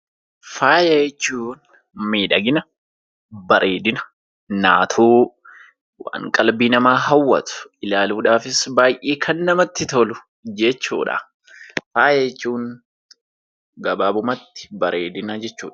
Faaya jechuun miidhagina, bareedina, naatoo waan qalbii namaa hawwatu ilaaluudhaafis baay'ee kan namatti tolu jechuudha. Faaya jechuun gabaabumatti bareedina jechuudha.